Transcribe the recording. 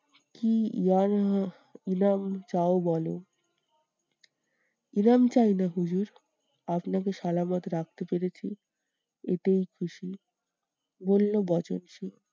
কি চাও বলো? চাইনা হুজুর, আপনাকে রাখতে পেরেছি এতেই খুশি, বললো বচনসুর।